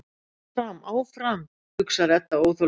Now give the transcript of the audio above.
Áfram, áfram, hugsar Edda óþolinmóð.